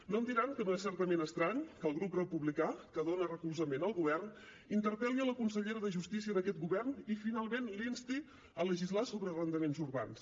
no em diran que no és certament estrany que el grup republicà que dona recolzament al govern interpel·li la consellera de justícia d’aquest govern i finalment la insti a legislar sobre arrendaments urbans